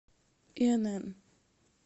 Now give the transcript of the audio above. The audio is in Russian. инн